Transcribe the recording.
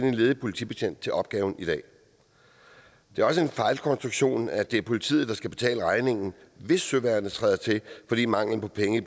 en ledig politibetjent til opgaven det er også en fejlkonstruktion at det er politiet der skal betale regningen hvis søværnet træder til fordi mangel på penge i